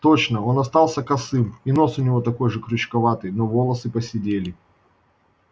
точно он остался косым и нос у него такой же крючковатый но волосы поседели